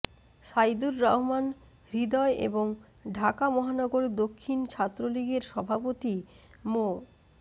সাইদুর রহমান হৃদয় এবং ঢাকা মহানগর দক্ষিণ ছাত্রলীগের সভাপতি মো